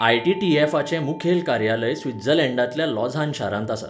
आय.टी.टी.एफा.चें मुखेल कार्यालय स्वित्झर्लंडांतल्या लॉझान शारांत आसा.